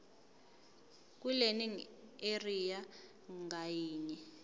kwilearning area ngayinye